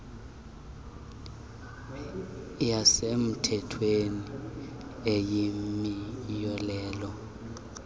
yasemthethweni eyimiyolelo eyalela